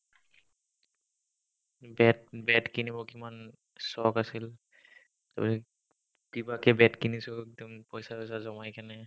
bat bat কিনিব কিমান চখ আছিল কিবাকে bat কিনিছো একদম পইচা-চইচা জমাই কিনে